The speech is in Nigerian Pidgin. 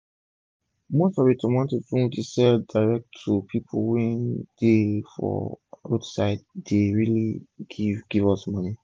my auntie dey sell garden egg with her own sauyto pipu wey dey stay near her compound